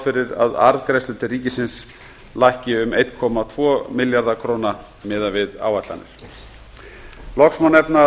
fyrir að arðgreiðslur til ríkisins lækki um einn komma tvo milljarða króna miðað við áætlanir loks má nefna að